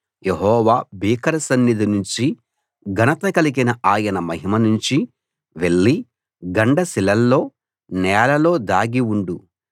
యెహోవా భీకర సన్నిధి నుంచి ఘనత కలిగిన ఆయన మహిమ నుంచీ వెళ్లి గండ శిలల్లో నేలలో దాగి ఉండు